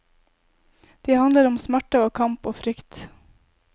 De handler om smerte og kamp og frykt.